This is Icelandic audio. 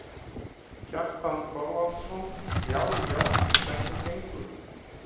Kjartan Þorvarðarson: Já já, hvernig gengur?